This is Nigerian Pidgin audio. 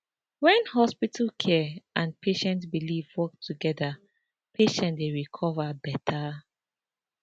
when hospital care and patient belief work together patient dey recover beta